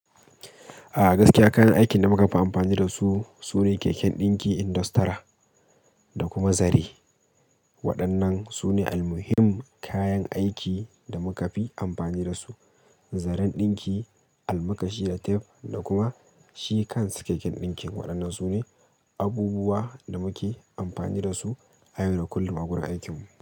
A gaskiya kayan aikin da muka fi amfani dasu sune keken ɗinki, industri da kuma zare. Waɗannan sune almuhim kayan aiki da muka fi amfani dasu. Zaren ɗinki, almakashi da tef da kuma shi kansa keken ɗinkin waɗannan sune abubuwa da muke amfani dasu a yayin kullum a wurin aikinmu.